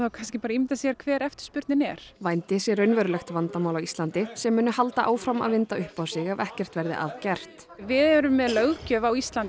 ímyndað sér hver eftirspurnin er vændi sé raunverulegt vandamál á Íslandi sem muni halda áfram að vinda upp á sig ef ekkert verði að gert við erum með löggjöf á Íslandi